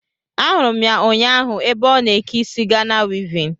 Ahụrụ m ya ụnyaahụ ébé ọ na eke isi Gana wivin